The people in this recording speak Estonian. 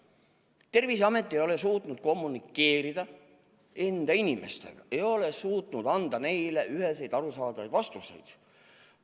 Terviseamet ei ole suutnud kommunikeerida oma inimestega, ei ole suutnud anda neile üheselt arusaadavaid vastuseid.